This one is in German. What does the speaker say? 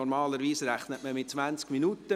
Normalerweise rechnet man mit je 20 Minuten.